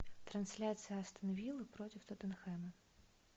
трансляция астон виллы против тоттенхэма